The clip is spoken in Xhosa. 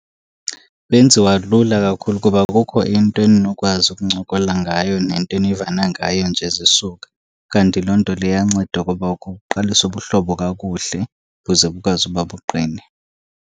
Benziwa lula kakhulu kuba kukho into eninokwazi ukuncokola ngayo nento enivana ngayo nje zisuka. Kanti loo nto leyo iyanceda ukuba ukhe uqalise ubuhlobo kakuhle buze bukwazi uba buqine.